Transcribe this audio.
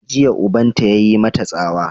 Jiya ubanta ya yi mata tsawa!